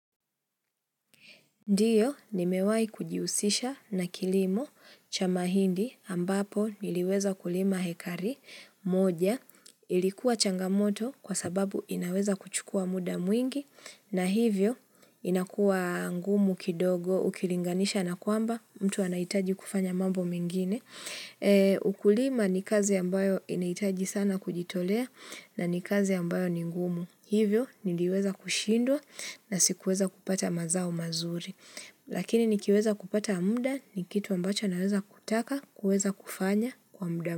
Ndiyo nimewai kujiusisha na kilimo cha mahindi ambapo niliweza kulima hekari moja ilikuwa changamoto kwa sababu inaweza kuchukua muda mwingi na hivyo inakuwa ngumu kidogo ukilinganisha na kwamba mtu anaitaji kufanya mambo mingine. Ukulima ni kazi ambayo inaitaji sana kujitolea na ni kazi ambayo ni ngumu Hivyo niliweza kushindwa na sikuweza kupata mazao mazuri Lakini nikiweza kupata mda ni kitu ambacho naweza kutaka kuweza kufanya kwa mda.